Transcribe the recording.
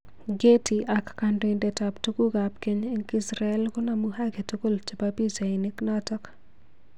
Getty ak kandoinatet ab tuguk ab keny eng israel konomu haki tugul chebo pichainik choto